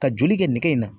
Ka joli kɛ nege in na